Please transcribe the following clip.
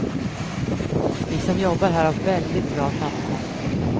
Vi som jobbar här har väldigt bra sammanhållning.